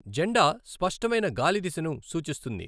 జెండా స్పష్టమైన గాలి దిశను సూచిస్తుంది.